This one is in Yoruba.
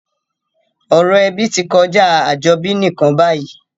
Ọ̀rọ̀ ebí ti kojá àjobí nìkan bayìí